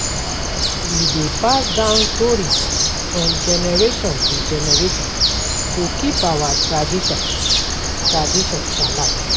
We dey pass down stories from generation to generation to keep our traditions traditions alive.